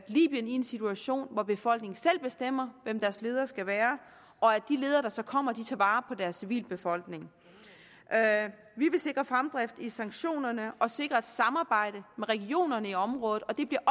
i en situation hvor befolkningen selv bestemmer hvem deres ledere skal være og at de ledere der så kommer tager vare deres civilbefolkning vi vil sikre fremdrift i sanktionerne og sikre et samarbejde med regionerne i området og det bliver